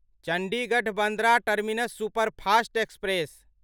Chandigarh Bandra terminus superfast express